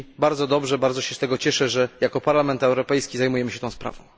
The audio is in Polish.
I bardzo dobrze bardzo się z tego cieszę że jako Parlament Europejski zajmujemy się tą sprawą.